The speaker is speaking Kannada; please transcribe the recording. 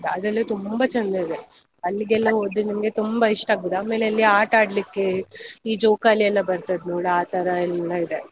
ಅದೆಲ್ಲ ತುಂಬಾ ಚಂದ ಇದೆ ಅಲ್ಲಿಗೆಲ್ಲ ಹೋದ್ರೆ ನಿಮ್ಗೆ ತುಂಬಾ ಇಷ್ಟ ಆಗ್ತದ್. ಆಮೇಲ್ ಅಲ್ಲಿ ಆಟ ಆಡ್ಲಿಕ್ಕೆ, ಈ ಜೋಕಾಲಿಯೆಲ್ಲ ಬರ್ತದ್ ನೋಡು ಆ ತರ ಎಲ್ಲಾ ಇದೆ.